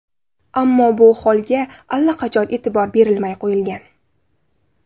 Ammo bu holga allaqachon e’tibor berilmay qo‘yilgan.